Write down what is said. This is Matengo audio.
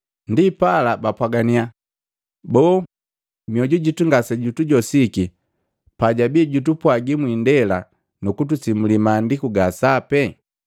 Ndipala, bapwaganiya, “Boo, mioju jito ngasejutujosiki pajabii jutupwagi mwiindela nu kutusimuli Maandiku ga sapi?”